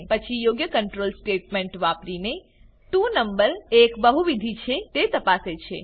પછી યોગ્ય control statement વાપરીને 2 નંબર એક બહુવિધ છે તે તપાસે છે